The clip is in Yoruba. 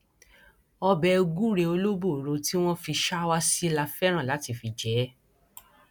ọbẹ gùrẹ olóbòro tí wọn fi ṣàwá sí la fẹràn láti fi jẹ ẹ